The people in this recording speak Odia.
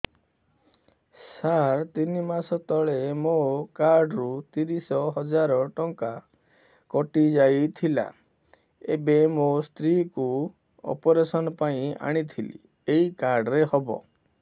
ସାର ତିନି ମାସ ତଳେ ମୋ କାର୍ଡ ରୁ ତିରିଶ ହଜାର ଟଙ୍କା କଟିଯାଇଥିଲା ଏବେ ମୋ ସ୍ତ୍ରୀ କୁ ଅପେରସନ ପାଇଁ ଆଣିଥିଲି ଏଇ କାର୍ଡ ରେ ହବ